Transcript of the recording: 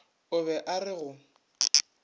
o be a re go